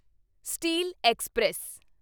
steel express